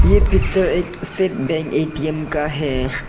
ये पिक्चर एक state bank ATM का है।